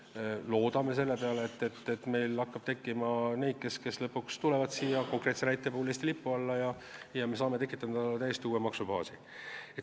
Me loodame selle peale, et meil hakkab tekkima neid, kes lõpuks toovad laeva Eesti lipu alla, ja me saame tekitada täiesti uue maksubaasi.